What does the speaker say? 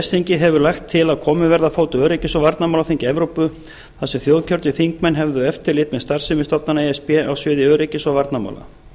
ves þingið hefur lagt til að borð verði á fót öryggis og varnarmálaþingi evrópu þar sem þjóðkjörnir þingmenn höfðu eftirlit með starfsemi stofnana e s b á sviði öryggis og varnarmála